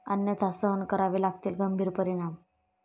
अन्यथा सहन करावे लागतील गंभीर परिणाम.